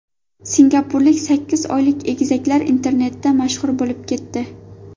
Singapurlik sakkiz oylik egizaklar internetda mashhur bo‘lib ketdi .